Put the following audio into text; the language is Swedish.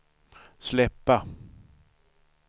släppa